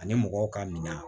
Ani mɔgɔw ka minan